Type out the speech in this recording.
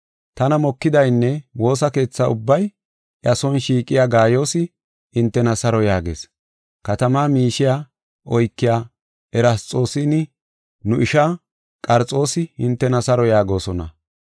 Tana mokidaynne woosa keetha ubbay iya son shiiqiya Gaayoosi, hintena saro yaagees. Katamaa miishiya oykiya Erasxoosinne nu ishaa Qarxoosi hintena saro yaagosona.